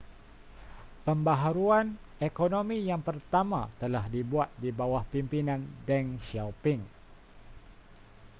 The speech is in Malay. pembaharuan ekonomi yang pertama telah dibuat di bawah pimpinan deng xiaoping